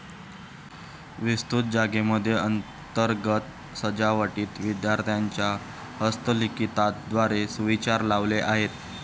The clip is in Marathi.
विस्तृत जागेमध्ये अंतर्गत सजावटीत विद्यार्थ्यांच्या हस्तलिखितात द्वारे सुविचार लावले आहेत